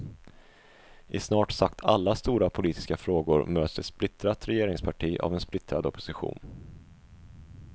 I snart sagt alla stora politiska frågor möts ett splittrat regeringsparti av en splittrad opposition.